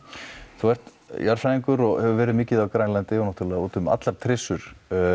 þú ert jarðfræðingur og hefur verið mikið á Grænlandi og náttúrulega úti um allar trissur